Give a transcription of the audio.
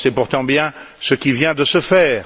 Or, c'est pourtant bien ce qui vient de se faire.